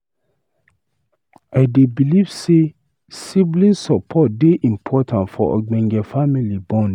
I dey believe say sibling support dey important for ogbonge family bond.